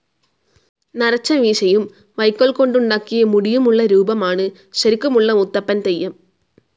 നരച്ച മീശയും വൈക്കോൽ കൊണ്ടുണ്ടാക്കിയ മുടിയും ഉള്ള ഈ രൂപമാണ് ശരിക്കുമുള്ള മുത്തപ്പൻ തെയ്യം.